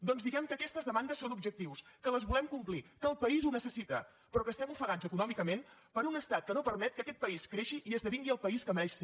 doncs diguem que aquestes demandes són objectius que les volem complir que el país ho necessita però que estem ofegats econòmicament per un estat que no permet que aquest país creixi i esdevingui el país que mereix ser